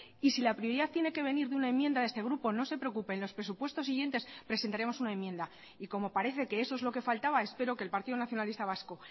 y si la prioridad tiene que venir de una enmienda de este grupo no se preocupe en los presupuestos siguientes presentaremos una enmienda y como parece que eso es lo que faltaba espero que el partido nacionalista vasco